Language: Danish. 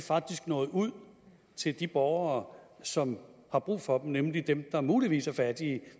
faktisk når ud til de borgere som har brug for dem nemlig dem der muligvis er fattige i